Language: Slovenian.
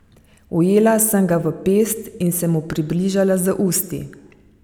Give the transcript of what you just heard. Ujela sem ga v pest in se mu približala z usti.